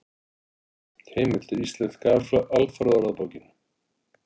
Heimildir: Íslenska alfræðiorðabókin.